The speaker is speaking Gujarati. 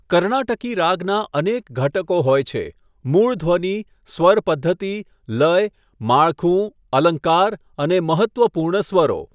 કર્ણાટકી રાગના અનેક ઘટકો હોય છે મૂળ ધ્વનિ, સ્વર પધ્ધતિ, લય, માળખું, અલંકાર અને મહત્ત્વપૂર્ણ સ્વરો.